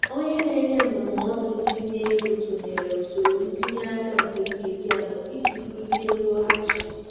Onye na-enye ndụmọdụ ntinye ego tụnyere usoro ntinye aka nke nkeji anọ iji bulie nloghachi.